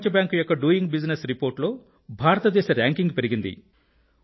ప్రపంచ బ్యాంక్ యొక్క doing business report లో భారత దేశ ర్యాంకింగ్ పెరిగింది